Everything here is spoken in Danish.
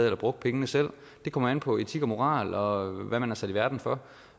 eller brugte pengene selv det kommer an på etik og moral og hvad man er sat i verden for